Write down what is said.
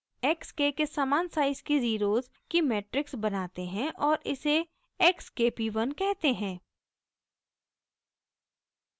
हम x k के समान साइज़ की ज़ीरोज़ की मेट्रिक्स बनाते हैं और इसे x k p 1 कहते हैं